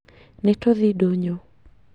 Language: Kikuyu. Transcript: Nitũthiĩ ndũnyũ